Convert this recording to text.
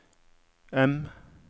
M